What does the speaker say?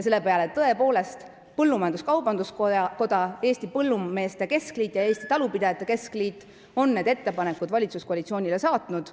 Tõepoolest, Eesti Põllumajandus-Kaubanduskoda, Eesti Põllumeeste Keskliit ja Eestimaa Talupidajate Keskliit on need ettepanekud valitsuskoalitsioonile saatnud.